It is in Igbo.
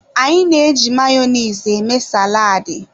Anyị na-eji Mayonezi eme saladi.